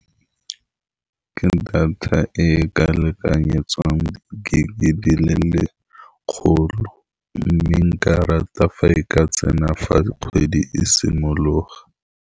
Ke data e e ka lekanyetswang gig-e di le legolo, mme nka rata fa e ka tsena fa kgwedi e simologa.